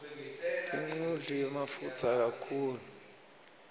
dinqudli mafutsa kakhulu